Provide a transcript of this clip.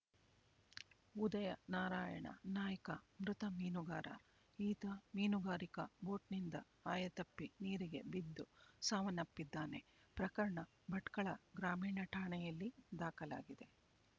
ಉದಯ ನಾರಾಯಣ ನಾಯ್ಕ ಮೃತ ಮೀನುಗಾರ ಈತ ಮೀನುಗಾರಿಕಾ ಬೋಟ್‍ನಿಂದ ಆಯತಪ್ಪಿ ನೀರಿಗೆ ಬಿದ್ದು ಸಾವನ್ನಪ್ಪಿದ್ದಾನೆ ಪ್ರಕರಣ ಭಟ್ಕಳ ಗ್ರಾಮೀಣ ಠಾಣೆಯಲ್ಲಿ ದಾಖಲಾಗಿದೆ